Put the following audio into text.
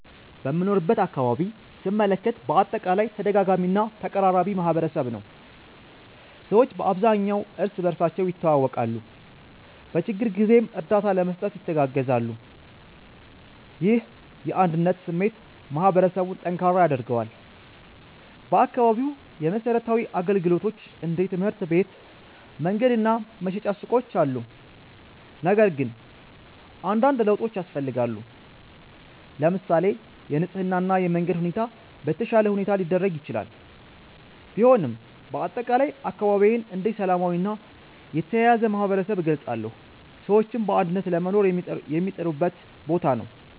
በምኖርበት አካባቢ ስመለከት በአጠቃላይ ተደጋጋሚ እና ተቀራራቢ ማህበረሰብ ነው። ሰዎች በአብዛኛው እርስ በርሳቸው ይተዋወቃሉ፣ በችግር ጊዜም እርዳታ ለመስጠት ይተጋገዛሉ። ይህ የአንድነት ስሜት ማህበረሰቡን ጠንካራ ያደርገዋል። በአካባቢው የመሠረታዊ አገልግሎቶች እንደ ትምህርት ቤት፣ መንገድ እና መሸጫ ሱቆች አሉ፣ ነገር ግን አንዳንድ ለውጦች ያስፈልጋሉ። ለምሳሌ የንጽህና እና የመንገድ ሁኔታ በተሻለ ሁኔታ ሊደረግ ይችላል። ቢሆንም በአጠቃላይ አካባቢዬን እንደ ሰላማዊ እና የተያያዘ ማህበረሰብ እገልጻለሁ፣ ሰዎችም በአንድነት ለመኖር የሚጥሩበት ቦታ ነው።